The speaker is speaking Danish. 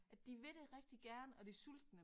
At de vil det rigtig gerne og de sultne